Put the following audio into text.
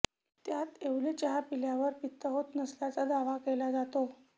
त्यात येवले चहा प्यायल्यावर पित्त होत नसल्याचा दावा केला जातो